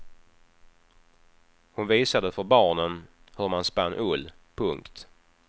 Hon visade för barnen hur man spann ull. punkt